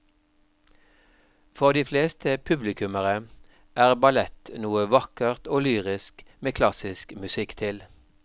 For de fleste publikummere er ballett noe vakkert og lyrisk med klassisk musikk til.